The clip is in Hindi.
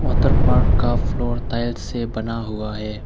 वातर पार्क का फ्लोर ताइल्स से बना हुआ है।